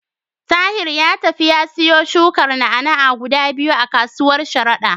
Tahir ya tafi ya siyo shukar na'a-na'a guda biyu a kasuwar Sharada.